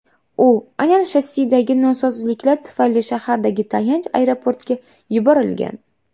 U aynan shassidagi nosozliklar tufayli shahardagi tayanch aeroportga yuborilgan.